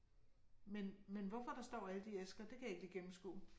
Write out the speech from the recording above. Men men hvorfor der står alle de æsker, det kan jeg ikke lige gennemskue